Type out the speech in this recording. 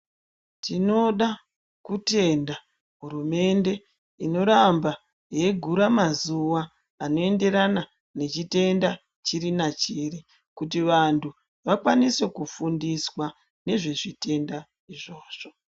Tinoda kutenda hurumende inoramba yeigura mazuva anoenderana nechitenda chiri nachiri kuti vantu vakwanise kufundiswa nezvezvitenda izvozvo.